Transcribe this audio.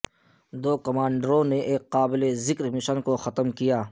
دو کمانڈروں نے ایک قابل ذکر مشن مشن کو ختم کیا